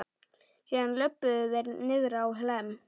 Síðan löbbuðu þeir niðrá Hlemm.